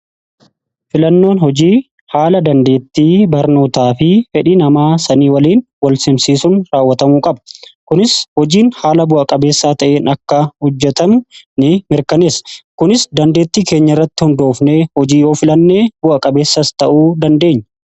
Filannoon hojii haala dandeettii barnootaa fi fedhi namaa sanii waliin wal simsiisun raawwatamuu qaba kunis hojiin haala bu'a-qabeessaa ta'in akka hojjetamu ni mirkaneesa. Kunis dandeetti keenya irratti hundoofne hojii yoo filannee bu'a-qabeessas ta'uu dandeenya.